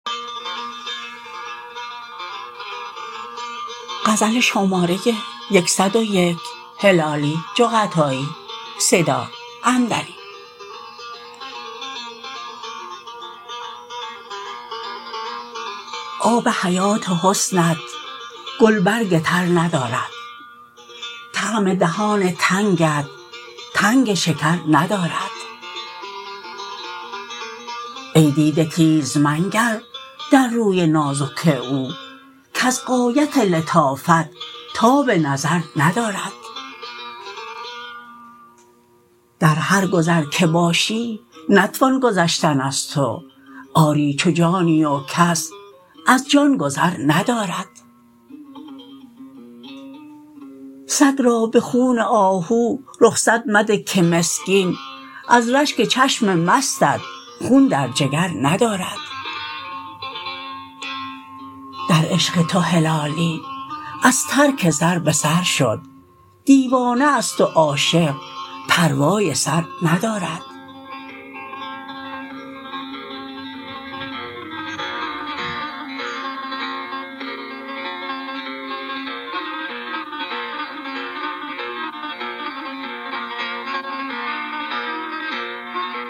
آب حیات حسنت گل برگ تر ندارد طعم دهان تنگت تنگ شکر ندارد ای دیده تیز منگر در روی نازک او کز غایت لطافت تاب نظر ندارد در هر گذر که باشی نتوان گذشتن از تو آری چو جانی و کس از جان گذر ندارد سگ را بخون آهو رخصت مده که مسکین از رشک چشم مستت خون در جگر ندارد در عشق تو هلالی از ترک سر بسر شد دیوانه است و عاشق پروای سر ندارد